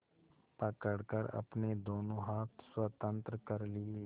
पकड़कर अपने दोनों हाथ स्वतंत्र कर लिए